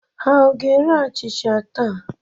Ha ọ ga-ere achịcha taa?